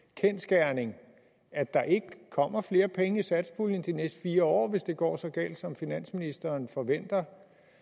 kendsgerning at der ikke kommer flere penge i satspuljen de næste fire år hvis det går så galt som finansministeren forventer